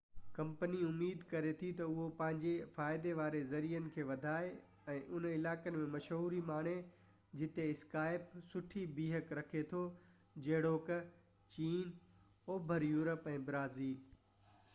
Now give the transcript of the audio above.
company اميد ڪري ٿي تہ اهو پنهنجي فائدي واري ذريعي کي وڌائي ۽ انهن علائقن ۾ مشهوري ماڻي جتي اسڪائپ سٺي بيهڪ رکي ٿو جهڙوڪ چين اوڀر يورپ ۽ برازيل